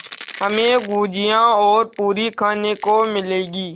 हमें गुझिया और पूरी खाने को मिलेंगी